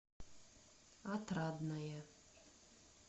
отрадное